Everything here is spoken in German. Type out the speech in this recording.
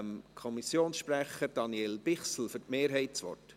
Kommissionspräsident der FiKo.